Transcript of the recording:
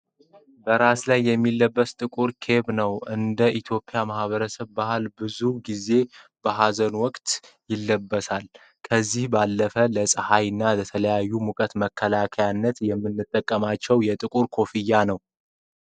በራስ ላይ የሚለበስ ጥቁር ኬፕ ነው ። እንደ ኢትዮጵያ ማህበረሰብ ባህል ብዙ ጊዜ በሀዘን ወቅት ይለብሳል ። ከዚህ ባለፈ ለፀሐይ መከላከያነት ይጠቅማል ።